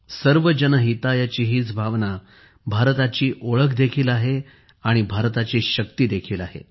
सर्वजन हिताय ची हीच भावना भारताची ओळख देखील आहे आणि भारताची शक्ती देखील आहे